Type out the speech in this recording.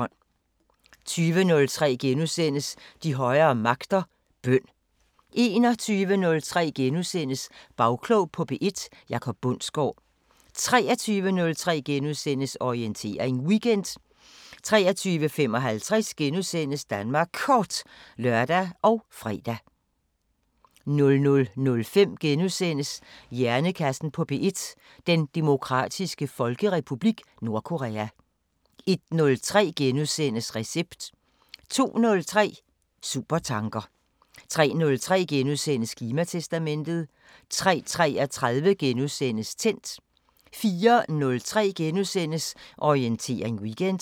20:03: De højere magter: Bøn * 21:03: Bagklog på P1: Jacob Bundsgaard * 23:03: Orientering Weekend * 23:55: Danmark Kort *(lør og fre) 00:05: Hjernekassen på P1: Den Demokratiske Folkerepublik Nordkorea * 01:03: Recept * 02:03: Supertanker 03:03: Klimatestamentet * 03:33: Tændt * 04:03: Orientering Weekend *